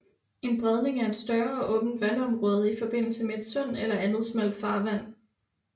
En bredning er et større åbent vandområde i forbindelse med et sund eller andet smalt farvand